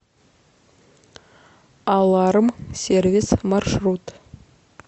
аларм сервис маршрут